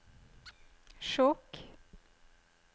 Skjåk